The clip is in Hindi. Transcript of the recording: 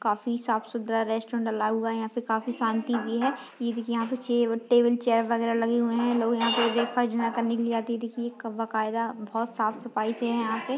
काफी साफ सुथरा रेस्टोरेंट डला हुआ है यहाँ पे काफी शांति भी है ये देखिये यहाँ पे चे टेबल चेयर वगेरह लगे हुए है लोग यहाँ पे ब्रेकफास्ट डिनर करने के लिए आते है देखिये कव बकायदा बहोत साफ सफाई से है यहाँ पे --